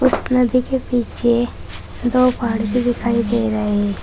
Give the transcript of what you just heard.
उस नदी के पीछे दो पहाड़ भी दिखाई दे रहे हैं।